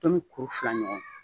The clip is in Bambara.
Tomi kuru fila ɲɔgɔn